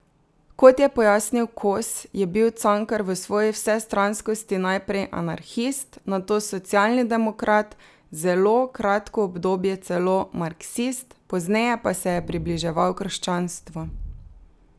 Kot je pojasnil Kos, je bil Cankar v svoji vsestranskosti najprej anarhist, nato socialni demokrat, zelo kratko obdobje celo marksist, pozneje pa se je približeval krščanstvu.